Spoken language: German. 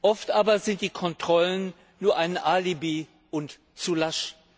Oft aber sind die Kontrollen nur ein Alibi und zu lasch.